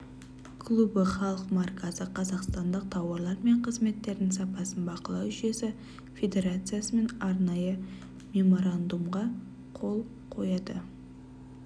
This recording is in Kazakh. клубы халық маркасы қазақстандық тауарлар мен қызметтердің сапасын бақылау жүйесі федерациясымен арнайы меморандумға қол қояды